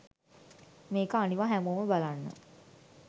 මේක අනිවා හැමොම බලන්න